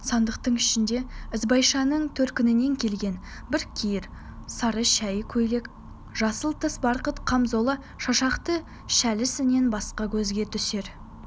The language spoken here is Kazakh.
сандықтың ішінде ізбайшаның төркінінен келген біркиер сары шәйі көйлек жасыл тыс барқыт камзолы шашақты шәлісінен басқа көзге түсер